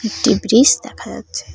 একটি ব্রীজ দেখা যাচ্ছে।